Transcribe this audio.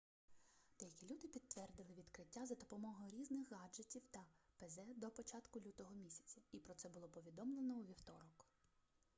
деякі люди підтвердили відкриття за допомогою різних гаджутів та пз до початку лютого місяця і про це було повідомлено у вівторок